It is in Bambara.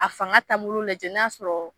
A fanga taabolo lajɛ n'a sɔrɔ